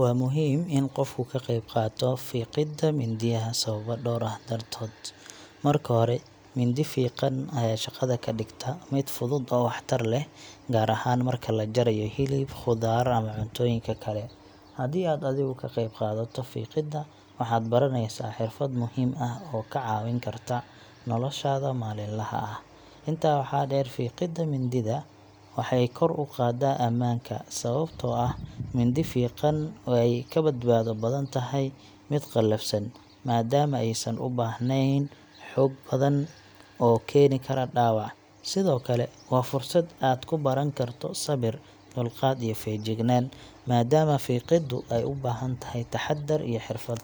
Waa muhiim in qofku ka qeyb qaato fiiqidda mindiyaha sababo dhowr ah dartood. Marka hore, mindi fiiqan ayaa shaqada ka dhigta mid fudud oo waxtar leh, gaar ahaan marka la jarayo hilib, khudaar ama cuntooyinka kale. Haddii aad adigu ka qeyb qaadato fiiqidda, waxaad baraneysaa xirfad muhiim ah oo kaa caawin karta noloshaada maalinlaha ah. Intaa waxaa dheer, fiiqidda mindida waxay kor u qaadaa ammaanka, sababtoo ah mindi fiiqan way ka badbaado badan tahay mid qalafsan, maadaama aysan u baahnayn xoog badan oo keeni kara dhaawac. Sidoo kale, waa fursad aad ku baran karto sabir, dulqaad iyo feejignaan, maadaama fiiqiddu ay u baahan tahay taxaddar iyo xirfad.